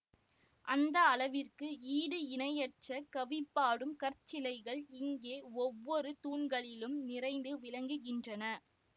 அந்த அளவிற்கு ஈடு இணையற்ற கவிபாடும் கற்சிலைகள் இங்கே ஒவ்வொரு தூண்களிலும் நிறைந்து விளங்குகின்றன